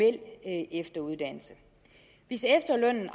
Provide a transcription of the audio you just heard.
efteruddannelse hvis efterlønnen